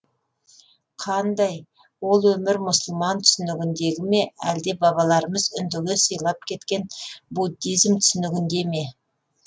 қандай ол өмір мұсылман түсінігіндегі ме әлде бабаларымыз үндіге сыйлап кеткен буддизм түсінігіндегі ме